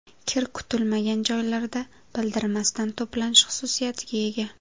Kir kutilmagan joylarda bildirmasdan to‘planish xususiyatiga ega.